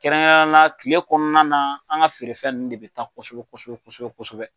Kɛrɛnen yala na kile kɔnɔna na an ka feerefɛn nunnu de be taa kosɛbɛ kosɛbɛ kosɛbɛ